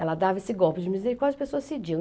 Ela dava esse golpe de misericórdia e as pessoas cediam.